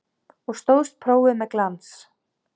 Og stóðst prófið með glans.